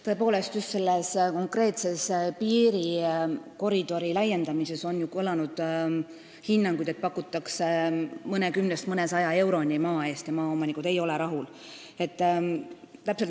Tõepoolest, just selle konkreetse piirikoridori laiendamisel on kõlanud hinnanguid, et maa eest pakutakse mõnekümnest mõnesaja euroni ja maaomanikud ei ole rahul.